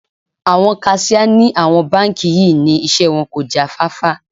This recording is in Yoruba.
Àwọn kaṣíà ní àwọn báńkì yí ni iṣẹ́ wọn kò já fáfá.